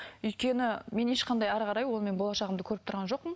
өйткені мен ешқандай әрі қарай онымен болашағымды көріп тұрған жоқпын